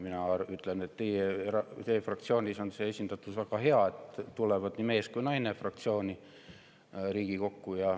Mina ütlen, et teie fraktsioonis on see esindatus väga hea: nii mees kui naine tulevad Riigikokku.